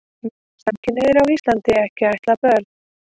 Mega samkynhneigðir á Íslandi ekki ættleiða börn?